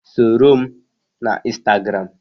Soro m na Instagram!